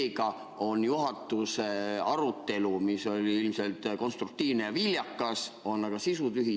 Seega on juhatuse arutelu, mis oli ilmselt konstruktiivne ja viljakas, paraku sisutühi.